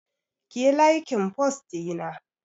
Kiyi laikin fost ɗina